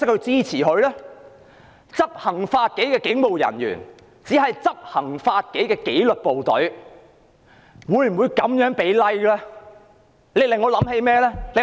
執行法紀的警務人員屬於紀律部隊，這樣給 "Like" 對嗎？